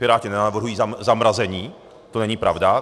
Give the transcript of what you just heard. Piráti nenavrhují zamrazení, to není pravda.